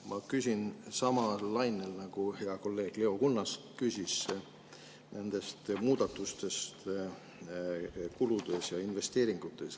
Ma küsin samal lainel nagu hea kolleeg Leo Kunnas, kes küsis muudatuste kohta kuludes ja investeeringutes.